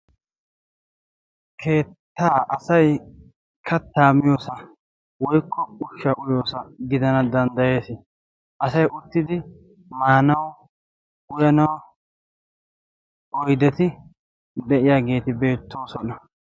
Keettaa asai kattaa miyoosa woikko ushsha uyoosa gidana danddayees. asay uttidi maanawu uyanawu oydeti de'iyaageeti beettoosona.